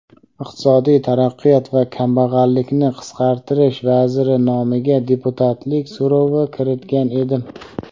Iqtisodiy taraqqiyot va kambag‘allikni qisqartirish vaziri nomiga deputatlik so‘rovi kiritgan edim.